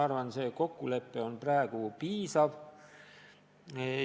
Ma arvan, et see kokkulepe on praegu piisav.